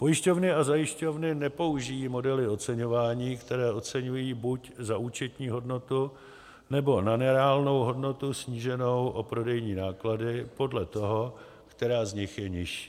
Pojišťovny a zajišťovny nepoužijí modely oceňování, které oceňují buď na účetní hodnotu, nebo na reálnou hodnotu sníženou o prodejní náklady, podle toho, která z nich je nižší.